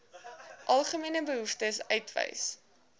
algemene behoeftes uitwys